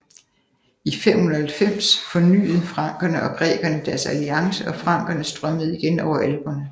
I 590 fornyet frankerne og grækerne deres alliance og frankerne strømmede igen over Alperne